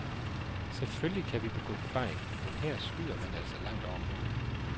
Selvfølgelig kan vi begå fejl, men her skyder man altså langt over målet.